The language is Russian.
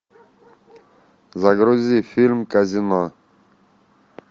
загрузи фильм казино